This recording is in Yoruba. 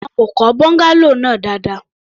Wọn kò kọ́ bungalow náà dáadáa.